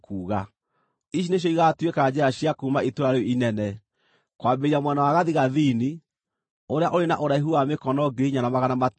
“Ici nĩcio igaatuĩka njĩra cia kuuma itũũra rĩu inene: Kwambĩrĩria mwena wa gathigathini, ũrĩa ũrĩ na ũraihu wa mĩkono 4,500,